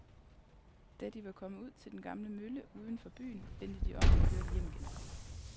Da de var kommet ud til den gamle mølle uden for byen, vendte de om og kørte hjem igen.